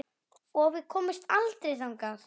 Og við komumst aldrei þangað.